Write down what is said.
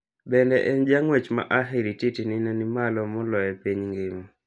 Bende en jang'uech ma ahirititi ne nimalo moloyo e piny ng'ima.